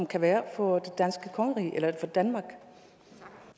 kan være for danmark